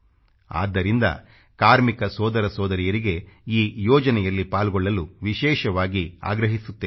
ಆದ್ದರಿಂದ ಕಾರ್ಮಿಕ ಸೊದರ ಸೊದರಿಯರಿಗೆ ಈ ಯೋಜನೆಯಲ್ಲಿ ಪಾಲ್ಗೊಳ್ಳಲು ವಿಶೇಷವಾಗಿ ಆಗ್ರಹಿಸುತ್ತೇನೆ